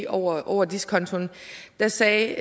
over over diskontoen der sagde